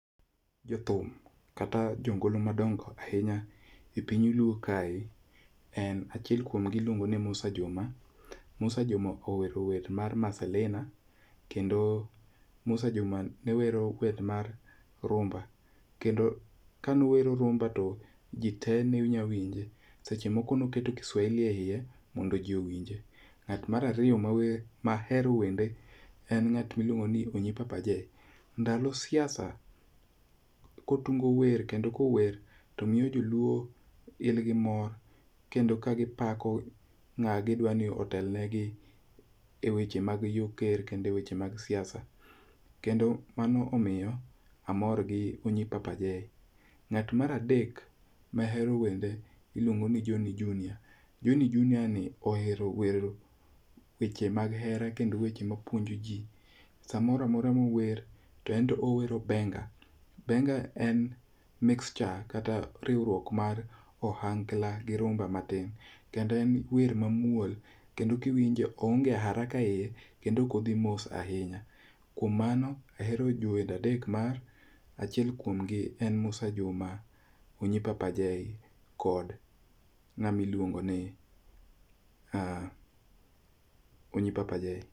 Jothum kata jongolo madongo ahinya e piny luo kae achiel kuomgi en Musa Juma, Musa Juma owero wer mar Maselna kendo owero wer mar rumba kendo kanowero rumba to ji tee nyalo winje seche moko ne oketo Kiswahili eiye mondonji owinje. Mar ariyo mowero mahero winjo e ng'at miluongo ni Onyi papa J. Ndalo siasa kotugo kendo ka ower to miyo ji luor gin gi mor kendo ka gipako ng'ama gidwa ni otel negi eweche mag yor ker kendo ka eweche mag siasa, kendo mano omiyo amor gi Onyi Papa J. Ng'at mar adek mahero wende iluongo ni Joni Junia ni ohero wero weche mag hera kendo weche mapuonjoji samoro amora mower owero benga. Benga en mixture kata riwruok mar ohangla gi rumba matin kendo en wer mamuol kiwinje oonge araka eiye kendo ok odhi mos ahinya kuom mano ahero jower adek ma achiel kuom gi en Musa Juma, Onyi Papa J kod ng'ama iluongo ni Onyi Papa J.